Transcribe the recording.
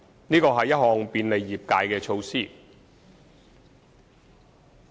這是一項便利業界的措施。